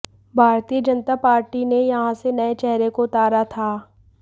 भारतीय जनता पार्टी ने यहां से नए चेहरे को उतारा था